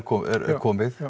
komið